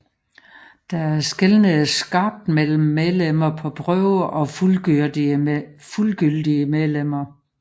Der skelnedes skarpt mellem medlemmer på prøve og fuldgyldige medlemmer